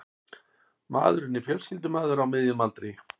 Maðurinn er fjölskyldumaður á miðjum aldri